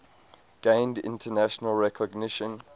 gained international recognition